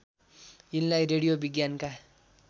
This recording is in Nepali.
यिनलाई रेडियो विज्ञानका